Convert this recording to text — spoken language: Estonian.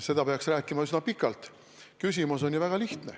Sellest peaks rääkima üsna pikalt.